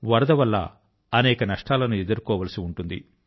వరద వల్ల అనేక నష్టాల ను ఎదుర్కోవాల్సి ఉంటుంది